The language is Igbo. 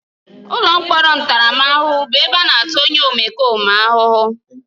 Ụlọ mkpọrọ ntaramahụhụ bụ ebe a na-ata onye omekome ahụhụ.